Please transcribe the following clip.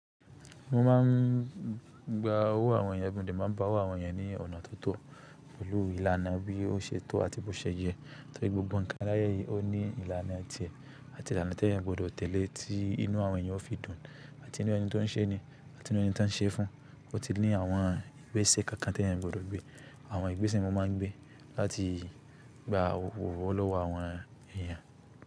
Mo máa n gba owó àwọn èèyàn, mo de má n ba owó àwọn èèyàn ní ọ̀nà tó tọ̀, pẹ̀lú ìlànà bí ó se tó àti bó se yẹ, torí gbogbo nǹkan aláyé yìí ó ní ìlànà tiè àti ìlànà tí èèyàn gbọdọ̀ tẹ̀lé tí inú àwọn èèyàn ó fi dùn àti inú ẹni tí wọ́n ń se ni àti inú ẹni tí wọ́n ń se fún. Ó ti ní àwọn ìgbésẹ̀ kankan tí èèyàn gbọdọ̀ gbé. Àwọn ìgbésẹ̀ wọ́n má n gbé láti gba owó lọ́wọ́ àwọn èèyàn.